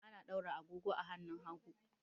Ana daura agogo a hannun hagu.